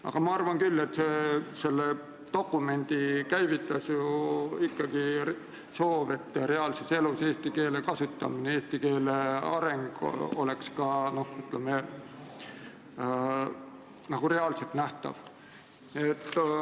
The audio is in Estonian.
Aga mina arvan, et selle dokumendi käivitas ju ikkagi soov, et eesti keele kasutamine, eesti keele areng oleks ka reaalselt nähtav.